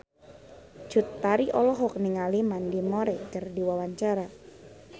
Cut Tari olohok ningali Mandy Moore keur diwawancara